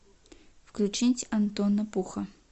включить антона пуха